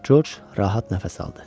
Corc rahat nəfəs aldı.